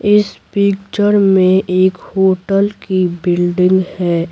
इस पिक्चर में एक होटल की बिल्डिंग है।